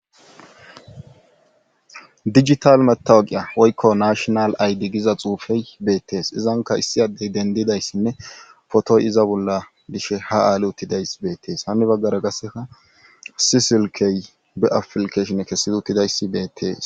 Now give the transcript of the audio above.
dijital metawaqiya woykko nashonal aydi giza xuufey beettees izanka issi addey dendidayssinne potoy iza bolla dishe ha aali uttidayss beettees hanni baggara gasseka asisilkey be afilkeshinne kessedi uttidayssi beettees